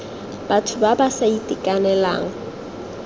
batho ba ba sa itekanelang